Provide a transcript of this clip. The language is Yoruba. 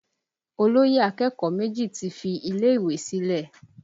Olóyè akẹ́kọ̀ọ́ méjì ti fi ilé ìwé sílẹ̀